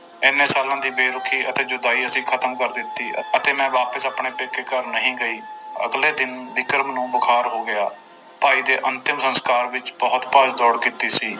ਇੰਨੇ ਸਾਲਾਂ ਦੀ ਬੇਰੁਖੀ ਅਤੇ ਜੁਦਾਈ ਅਸੀਂ ਖਤਮ ਕਰ ਦਿੱਤੀ ਅਤੇ ਮੈਂ ਵਾਪਸ ਆਪਣੇ ਪੇਕੇ ਘਰ ਨਹੀਂ ਗਈ, ਅਗਲੇ ਦਿਨ ਵਿਕਰਮ ਨੂੰ ਬੁਖਾਰ ਹੋ ਗਿਆ, ਭਾਈ ਦੇ ਅੰਤਿਮ ਸੰਸਕਾਰ ਵਿੱਚ ਬਹੁਤ ਭੱਜ ਦੌੜ ਕੀਤੀ ਸੀ।